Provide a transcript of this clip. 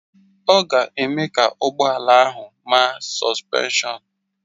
Ọ ga-eme ka ụgbọ ala ahụ maa sọspenshọn